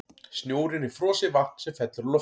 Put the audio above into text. Snjórinn er frosið vatn sem fellur úr loftinu.